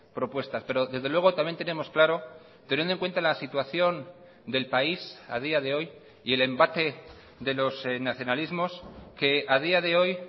propuestas pero desde luego también tenemos claro teniendo en cuenta la situación del país a día de hoy y el embate de los nacionalismos que a día de hoy